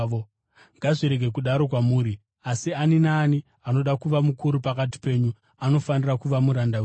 Ngazvirege kudaro kwamuri. Asi ani naani anoda kuva mukuru pakati penyu anofanira kuva muranda wenyu,